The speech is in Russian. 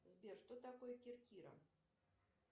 сбер что такое керкира